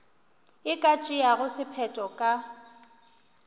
e ka tšeago sephetho ka